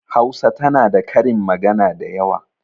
Hausa tana da karin magana dayawa.